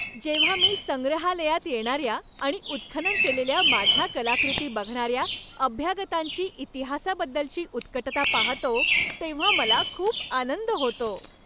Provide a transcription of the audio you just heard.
जेव्हा मी संग्रहालयात येणाऱ्या आणि उत्खनन केलेल्या माझ्या कलाकृती बघणाऱ्या अभ्यागतांची इतिहासाबद्दलची उत्कटता पाहतो, तेव्हा मला खूप आनंद होतो.